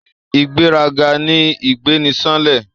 Ìgbéraga ni ìgbé ni sánlẹ̀